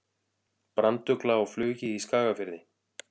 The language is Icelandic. Brandugla á flugi í Skagafirði.